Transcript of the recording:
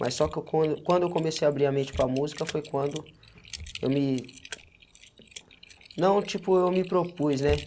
Mas só que eu quando quando eu comecei a abrir a mente para a música foi quando eu me... Não, tipo, eu me propus, né?